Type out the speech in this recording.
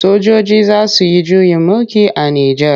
Sojoji za su yi juyin mulki a Nijar.